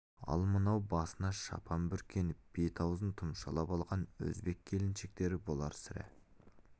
ал мынау басына шапан бүркеніп беті-аузын тұмшалап алған өзбек келіншектері болар сірә